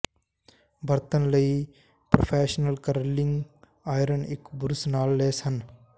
ਬਰਤਨ ਲਈ professional curling iron ਇੱਕ ਬੁਰਸ਼ ਨਾਲ ਲੈਸ ਹਨ